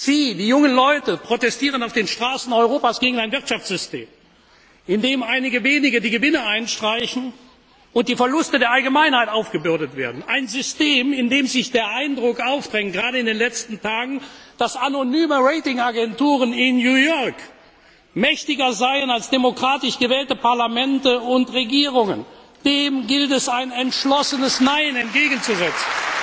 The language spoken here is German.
Sie, die jungen Leute, protestieren auf den Straßen Europas gegen ein Wirtschaftssystem, in dem einige Wenige die Gewinne einstreichen und die Verluste der Allgemeinheit aufgebürdet werden, ein System, in dem sich der Eindruck aufdrängt, gerade in den letzten Tagen, dass anonyme Rating Agenturen in New York mächtiger seien als demokratisch gewählte Parlamente und Regierungen. Dem gilt es ein entschlossenes Nein entgegenzusetzen.